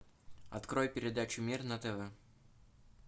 открой передачу мир на тв